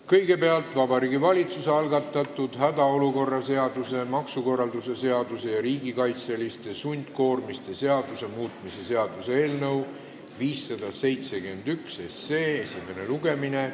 Kõigepealt on Vabariigi Valitsuse algatatud hädaolukorra seaduse, maksukorralduse seaduse ja riigikaitseliste sundkoormiste seaduse muutmise seaduse eelnõu 571 esimene lugemine.